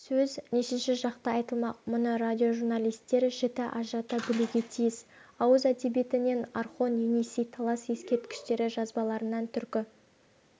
сөз нешінші жақта айтылмақ мұны радиожурналистер жіті ажырата білуге тиіс ауыз әдебиетінен орхон-енисей-талас ескерткіштері жазбаларынан түркі